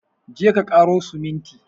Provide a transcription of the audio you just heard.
Je ka ƙaro siminti!